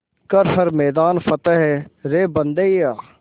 कर हर मैदान फ़तेह रे बंदेया